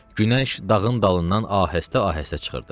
Günəş dağın dalından ahəstə-ahəstə çıxırdı.